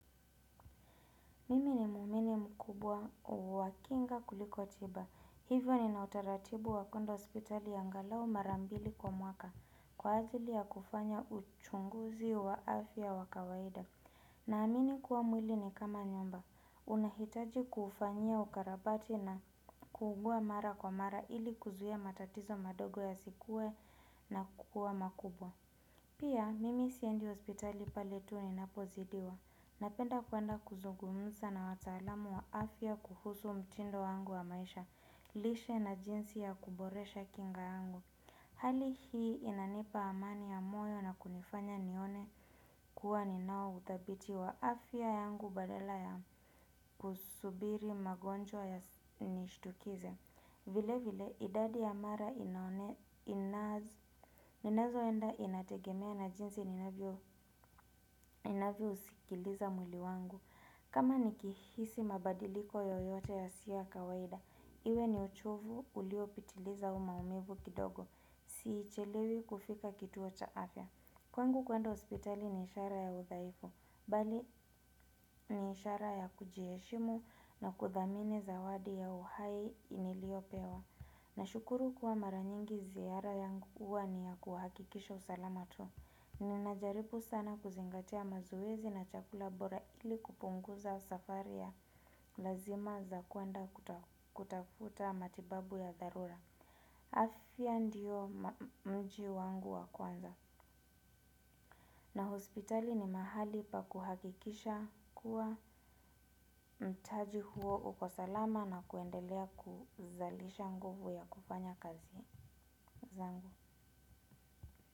Mimi ni muumini mkubwa wa kinga kuliko tiba. Hivyo nina utaratibu wa kuenda hospitali angalau mara mbili kwa mwaka. Kwa ajili ya kufanya uchunguzi wa afya wa kawaida. Naamini kuwa mwili ni kama nyumba. Unahitaji kuufanyia ukarabati na kuugua mara kwa mara ili kuzuhia matatizo madogo yasikue na kukua makubwa. Pia, mimi siendi hospitali pale tu ninapozidiwa. Napenda kuenda kuzungumza na wataalamu wa afya kuhusu mtindo wangu wa maisha, lishe na jinsi ya kuboresha kinga yangu. Hali hii inanipa amani ya moyo na kunifanya nione kuwa ninao uthabiti wa afya yangu badala ya kusubiri magonjwa yanishtukize. Vile vile, idadi ya mara inazoenda inategemea na jinsi ninavyousikiliza mwili wangu. Kama nikihisi mabadiliko yoyote yasiyo ya kawaida, iwe ni uchovu uliopitiliza au maumivu kidogo, sichelewi kufika kituo cha afya. Kwangu kuenda hospitali ni ishara ya udhaifu, bali ni ishara ya kujiheshimu na kudhamini zawadi ya uhai niliopewa. Nashukuru kuwa mara nyingi ziara yangu huwa ni ya kuhakikisha usalama tu. Ninajaribu sana kuzingatia mazoezi na chakula bora ili kupunguza safari ya lazima za kuenda kutafuta matibabu ya dharura. Afya ndio mji wangu wa kwanza na hospitali ni mahali pa kuhakikisha kuwa mtaji huo uko salama na kuendelea kuzalisha nguvu ya kufanya kazi zangu.